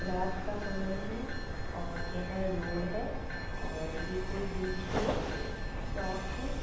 रात का समय है और यह रोड है और यह कोई बीच में चौक है।